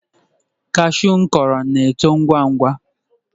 Cashew m kụrụ na-eto ngwa ngwa.